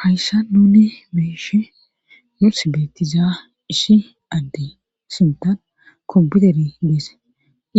Hayssa nuni meeshe muss beettiza issi adde sintan kompiuteri deese